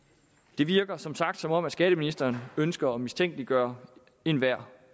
det virker som sagt som om skatteministeren ønsker at mistænkeliggøre enhver